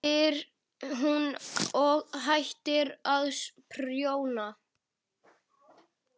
spyr hún og hættir að prjóna.